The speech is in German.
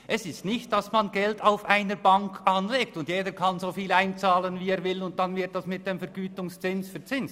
Es ist nicht so, dass man Geld bei einer Bank anlegt, wo jeder so viel einzahlen kann, wie er will, und dann wird das mit dem Vergütungszins verzinst.